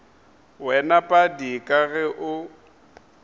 wena padi ka ge o